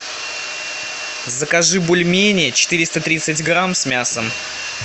закажи бульмени четыреста тридцать грамм с мясом